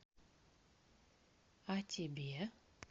а тебе